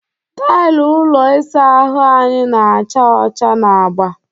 Tailụ ụlọ ịsa ahụ anyị na-acha ọcha na agba.